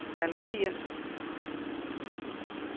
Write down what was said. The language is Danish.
malerier